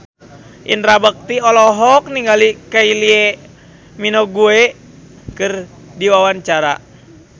Indra Bekti olohok ningali Kylie Minogue keur diwawancara